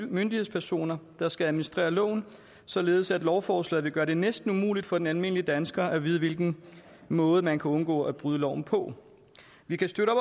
myndighedspersoner der skal administrere loven således at lovforslaget vil gøre det næsten umuligt for den almindelige dansker at vide hvilken måde man kan undgå at bryde loven på vi kan støtte